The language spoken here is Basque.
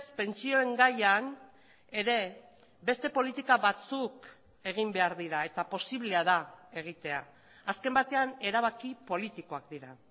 pentsioen gaian ere beste politika batzuk egin behar dira eta posiblea da egitea azken batean erabaki politikoak dira